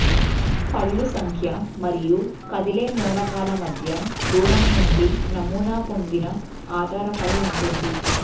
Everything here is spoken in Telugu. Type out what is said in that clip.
పళ్ళు సంఖ్య మరియు కదిలే మూలకాల మధ్య దూరం నుండి నమూనా పొందిన ఆధారపడి ఉంటుంది